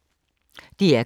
DR K